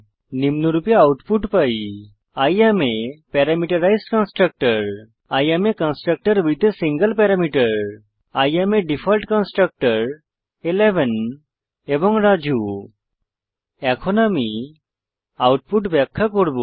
নিম্নরূপে আউটপুট পাই I am a parameterised constructor I am a constructor with a single parameter I am a default constructor 11 এবং রাজু এখন আমি output ব্যাখ্যা করব